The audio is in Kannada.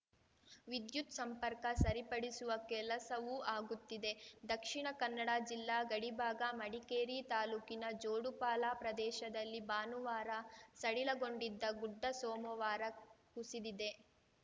ವಿದ್ಯುತ್‌ ಸಂಪರ್ಕ ಸರಿಪಡಿಸುವ ಕೆಲಸವೂ ಆಗುತ್ತಿದೆ ದಕ್ಷಿಣ ಕನ್ನಡ ಜಿಲ್ಲಾ ಗಡಿಭಾಗ ಮಡಿಕೇರಿ ತಾಲೂಕಿನ ಜೋಡುಪಾಲ ಪ್ರದೇಶದಲ್ಲಿ ಭಾನುವಾರ ಸಡಿಲಗೊಂಡಿದ್ದ ಗುಡ್ಡ ಸೋಮವಾರ ಕುಸಿದಿದೆ